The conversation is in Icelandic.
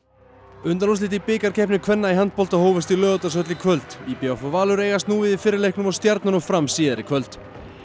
undanúrslit í bikarkeppni kvenna í handbolta hófust í Laugardalshöll í kvöld í b v og Valur eigast nú við í fyrri leiknum og Stjarnan og Fram síðar í kvöld